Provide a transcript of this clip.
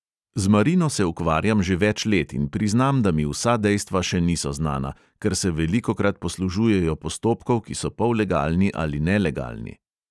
Z marino se ukvarjam že več let in priznam, da mi vsa dejstva še niso znana, ker se velikokrat poslužujejo postopkov, ki so pollegalni ali nelegalni.